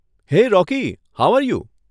Hey Rocky, how are you?